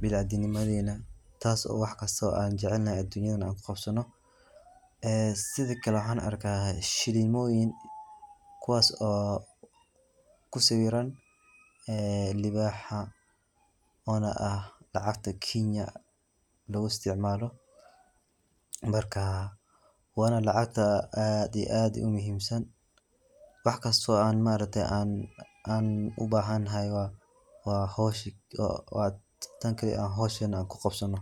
biniaadanimadeena taas oo waxkasto aan jecelnahay dunida ku qabsano. Ee sidakale waxaan arka shilimooyin kuwas oo ku sawiran ee libaxa oona ah lacagta kenya lagu isticmaalo markaa waana lacagta aad iyo aad muhiimsan waxkasto aan ma aragte aan u bahanahy waa hawsha waa tan kali aan hawshan aan ku qabsano.